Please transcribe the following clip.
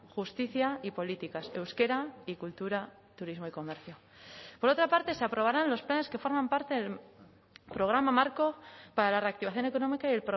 justicia y políticas de euskera y cultura turismo y comercio por otra parte se aprobarán los planes que forman parte del programa marco para la reactivación económica y